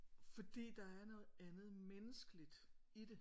Fordi der er noget andet menneskeligt i det